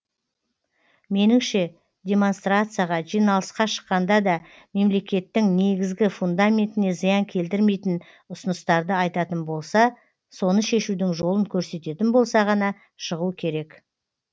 меніңше демонстрацияға жиналысқа шыққанда да мемлекеттің негізгі фундаментіне зиян келтірмейтін ұсыныстарды айтатын болса соны шешудің жолын көрсететін болса ғана шығу керек